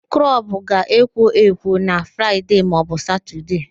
Klọbụ ga-ekwo ekwo na Fraịde maọbụ Satọde